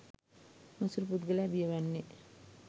මසුරු පුද්ගලයා බිය වන්නේ